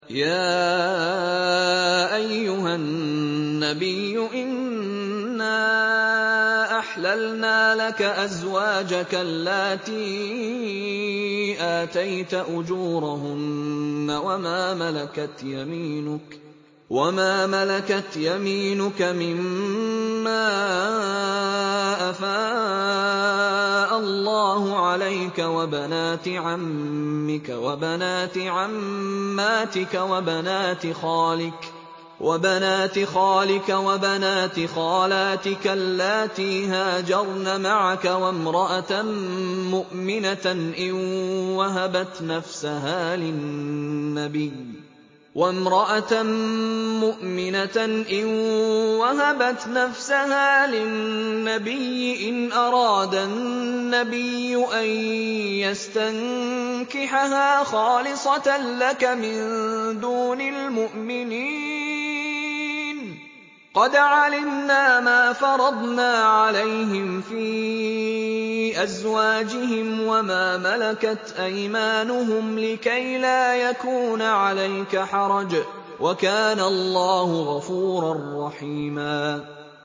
يَا أَيُّهَا النَّبِيُّ إِنَّا أَحْلَلْنَا لَكَ أَزْوَاجَكَ اللَّاتِي آتَيْتَ أُجُورَهُنَّ وَمَا مَلَكَتْ يَمِينُكَ مِمَّا أَفَاءَ اللَّهُ عَلَيْكَ وَبَنَاتِ عَمِّكَ وَبَنَاتِ عَمَّاتِكَ وَبَنَاتِ خَالِكَ وَبَنَاتِ خَالَاتِكَ اللَّاتِي هَاجَرْنَ مَعَكَ وَامْرَأَةً مُّؤْمِنَةً إِن وَهَبَتْ نَفْسَهَا لِلنَّبِيِّ إِنْ أَرَادَ النَّبِيُّ أَن يَسْتَنكِحَهَا خَالِصَةً لَّكَ مِن دُونِ الْمُؤْمِنِينَ ۗ قَدْ عَلِمْنَا مَا فَرَضْنَا عَلَيْهِمْ فِي أَزْوَاجِهِمْ وَمَا مَلَكَتْ أَيْمَانُهُمْ لِكَيْلَا يَكُونَ عَلَيْكَ حَرَجٌ ۗ وَكَانَ اللَّهُ غَفُورًا رَّحِيمًا